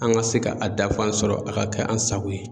An ka se ka a dafan sɔrɔ a ka kɛ an sago ye.